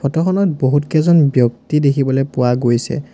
Photo খনত বহুতকেইজন ব্যক্তি দেখিবলৈ পোৱা গৈছে।